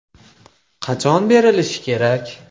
Qachon berilishi kerak?